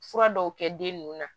Fura dɔw kɛ den nunnu na